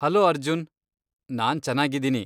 Hello Arjun! ನಾನ್ ಚನಾಗಿದ್ದೀನಿ.